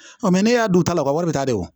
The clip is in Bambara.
Ɔn ne y'a don taa la o ka wari bɛ taa de wo